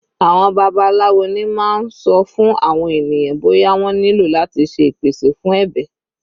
Àwọn babaláwo ni máa ń sọ fún àwọn ènìyàn bóyá wọ́n nílò láti ṣe ìpèsè fún ẹbẹ̀.